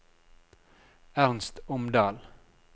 Ernst Omdal